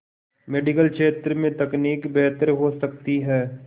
medical क्षेत्र में तकनीक बेहतर हो सकती है